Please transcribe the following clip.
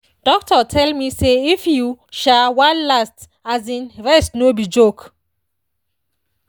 doctor tell me say if you um wan last um rest no be joke.